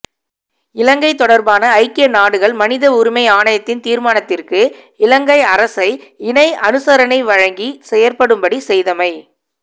இலங்கை தொடர்பான ஐக்கிய நாடுகள் மனித உரிமை ஆழைணயத்தின் திர்மானததிற்கு இலங்கை அரசை இணை அணுசரணை வழங்கி செயற்படும்படி செய்தரமை